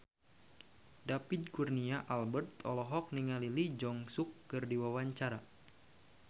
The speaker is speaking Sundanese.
David Kurnia Albert olohok ningali Lee Jeong Suk keur diwawancara